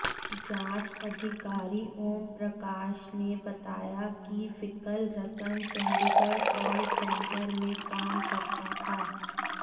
जांच अधिकारी ओमप्रकाश ने बताया की विकल रतन चंडीगढ़ कॉल सेंटर में काम करता था